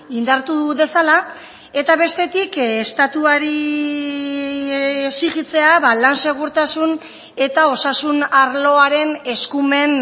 indartu dezala eta bestetik estatuari exijitzea lan segurtasun eta osasun arloaren eskumen